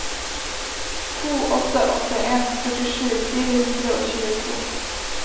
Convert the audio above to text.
to åtte åtte en førtisju fire hundre og tjueto